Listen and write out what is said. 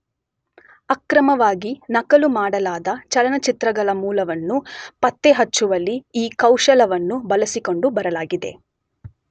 ಅಕ್ರಮವಾಗಿ ನಕಲು ಮಾಡಲಾದ ಚಲನಚಿತ್ರಗಳ ಮೂಲವನ್ನು ಪತ್ತೆಹಚ್ಚುವಲ್ಲಿ ಈ ಕೌಶಲವನ್ನು ಬಳಸಿಕೊಂಡು ಬರಲಾಗಿದೆ.